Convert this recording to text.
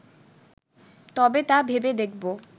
তবে তা ভেবে দেখব